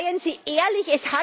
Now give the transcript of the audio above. Seien Sie ehrlich